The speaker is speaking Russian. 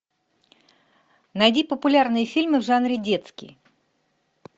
найди популярные фильмы в жанре детский